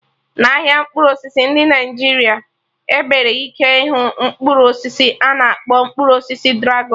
n'ahịa mkpụrụ osisi dị na Naijiria, ebere ike ịhụ Mkpụrụ osisi a na-akpọ mkpụrụ osisi dragọn